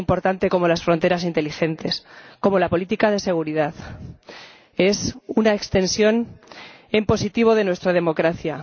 Tan importante como las fronteras inteligentes, como la política de seguridad, es una extensión en positivo de nuestra democracia.